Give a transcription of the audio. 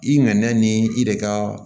I nɛna ni i de ka